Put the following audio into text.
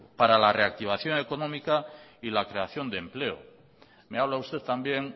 para la reactivación económica y la creación de empleo me habla usted también